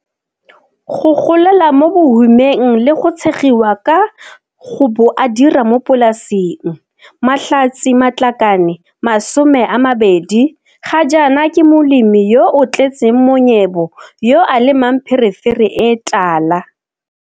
Go golela mo bohumeng le go tshegiwa ka go bo a dira mo polasing, Mahlatse Matlakane 20 ga jaana ke molemi yo o tletseng monyebo yo a lemang pherefere e tala.